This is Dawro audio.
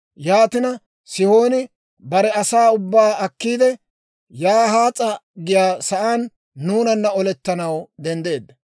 «Yaatina, Sihooni bare asaa ubbaa akkiide, Yahaas'a giyaa saan nuunana olettanaw denddeedda.